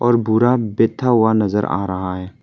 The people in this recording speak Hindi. बूढ़ा बैठा हुआ नजर आ रहा है।